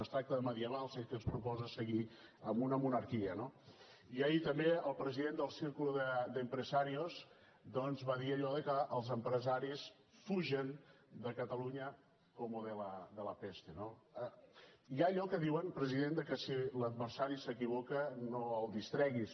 ens tracta de medievals ell que ens proposa seguir en una monarquia no i ahir també el president del círculo de empresarios va dir allò de que els empresaris fugen de catalunya como de la peste no hi ha allò que diuen president de que si l’adversari s’equivoca no el distreguis